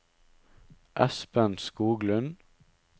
Espen Skoglund